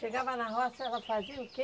Chegava na roça, ela fazia o quê?